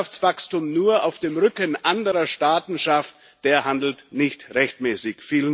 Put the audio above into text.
Wer Wirtschaftswachstum nur auf dem Rücken anderer Staaten schafft, der handelt nicht rechtmäßig.